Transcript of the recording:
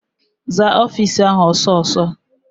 Zaa ọfịịsi ahụ ọsọ ọsọ!